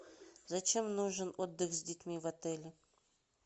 зачем нужен отдых с детьми в отеле